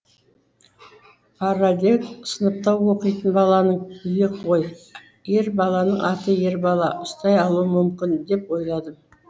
параллель сыныпта оқитын баланың үйі ғой ер баланың аты ер бала ұстай алуы мүмкін деп ойладым